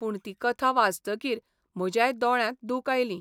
पूण ती कथा वाचतकीर म्हज्याय दोळ्यांत दुक आयलीं.